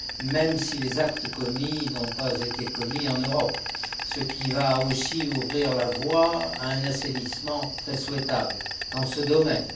même si les actes commis ne l'ont pas été en Europe, ce qui va ouvrir la voie à un assainissement très souhaitable dans ce domaine.